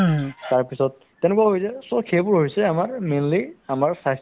বা তেওঁলোক যথেষ্ট ৰাতি হ'লেও যাবলগীয়া হৈ যায় বহুত যথেষ্ট কষ্ট কৰে